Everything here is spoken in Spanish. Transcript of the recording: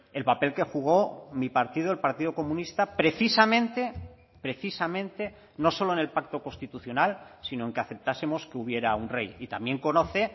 el papel que jugó mi partido el partido comunista precisamente precisamente no solo en el pacto constitucional sino en que aceptásemos que hubiera un rey y también conoce